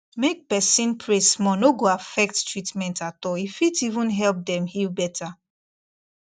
make person pray small no go affect treatment at all e fit even help them heal better